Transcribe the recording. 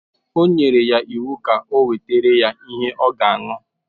O nyere iwu ka e wetara ya ihe ọ ga ṅụ.